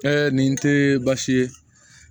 nin tɛ baasi ye